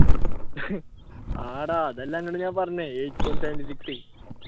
ആട അതെല്ലേ അന്നൊട് ഞാൻ പറഞ്ഞത് eight point seven six